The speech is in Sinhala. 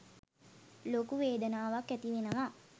ලොකු වේදනාවක් ඇතිවෙනවා